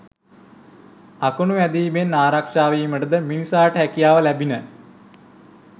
අකුණු වැදීමෙන් ආරක්ෂා වීමට ද මිනිසාට හැකියාව ලැබිණ.